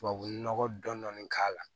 Tubabu nɔgɔ dɔnnin k'a la